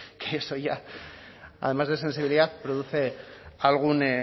que eso ya además de sensibilidad produce algún